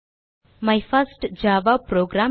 my first Java program